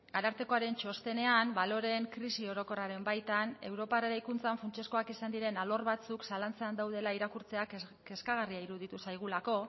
arartekoaren txostenean baloreen krisi orokorraren baitan europar eraikuntzan funtsezkoak izan diren alor batzuk zalantzan daudela irakurtzeak kezkagarria iruditu zaigulako